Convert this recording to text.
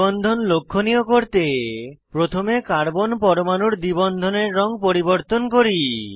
দ্বি বন্ধন লক্ষনীয় করতে প্রথমে কার্বন পরমাণুর দ্বি বন্ধনের রঙ পরিবর্তন করি